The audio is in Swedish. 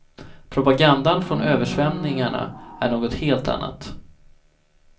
Propagandan från översvämningarna är något helt annat.